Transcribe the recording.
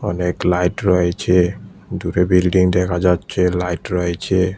অনেক লাইট রয়েছে দূরে বিল্ডিং দেখা যাচ্ছে লাইট রয়েছে।